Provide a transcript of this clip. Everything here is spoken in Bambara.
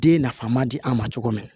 Den nafama di an ma cogo min na